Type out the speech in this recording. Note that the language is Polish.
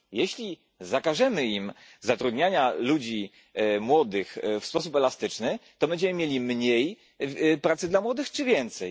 Jeśli zakażemy im zatrudniania ludzi młodych w sposób elastyczny, to będziemy mieli mniej pracy dla młodych czy więcej?